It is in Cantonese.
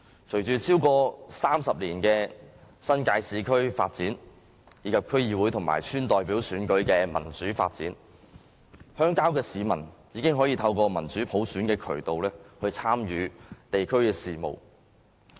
經過超過30年的新界市區發展，以及區議會和村代表選舉的民主發展，鄉郊的市民已經可以透過民主普選的渠道參與地區事務。